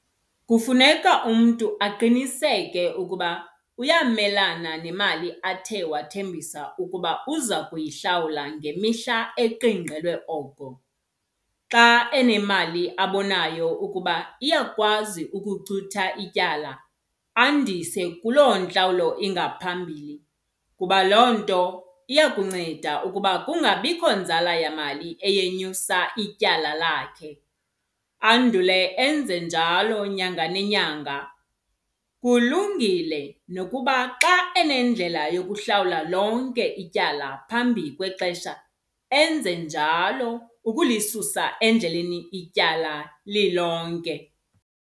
Kufuneka umntu aqiniseke ukuba uyamelana nemali athe wathembisa ukuba uza kuyihlawula ngemihla eqingqelwe oko. Xa enemali abonayo ukuba iyakwazi ukucutha ityala andise kuloo ntlawulo ingaphambili kuba loo nto iya kunceda ukuba kungabikho nzala yamali eyenyusa ityala lakhe, andule enze njalo nyanga nenyanga. Kulungile nokuba xa enendlela yokuhlawula lonke ityala phambi kwexesha enze njalo ukulisusa endleleni ityala lilonke.